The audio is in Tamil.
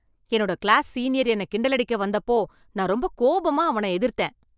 என்னோட கிளாஸ் சீனியர் என்னைக் கிண்டலடிக்க வந்தப்போ நான் ரொம்ப கோபமா அவனை எதிர்த்தேன்.